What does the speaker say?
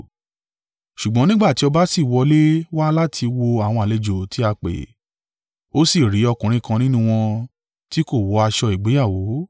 “Ṣùgbọ́n nígbà tí ọba sì wọlé wá láti wo àwọn àlejò tí a pè, ó sì rí ọkùnrin kan nínú wọn tí kò wọ aṣọ ìgbéyàwó.